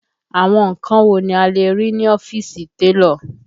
Àwọn nǹkan wo ni a lè rí ní ọ́fíìsì télọ̀?